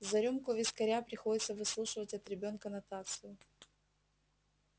за рюмку вискаря приходится выслушивать от ребёнка нотацию